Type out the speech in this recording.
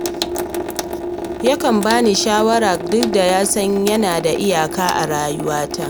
Yakan ba ni shawara duk da ya san yana da iyaka a rayuwata